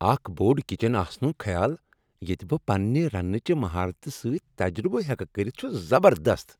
اکھ بوٚڑ کچن آسنک خیال ییٚتہ بہ پنٛنہ رنٛنہٕ چہ مہارتہ سۭتۍ تجربہٕ ہٮ۪کہٕ کٔرتھ چُھ زبردست۔